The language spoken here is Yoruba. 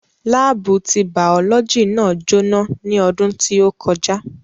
Láábù ti bàọ́lọ́jì náà jó ná ní ọdún tí ó kọjá